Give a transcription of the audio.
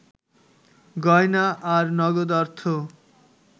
গয়না আর নগদ অর্থ